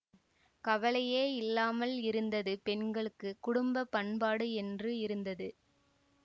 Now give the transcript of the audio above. கவலையே இல்லாமல் இருந்தது பெண்களுக்குக் குடும்ப பண்பாடு என்று இருந்தது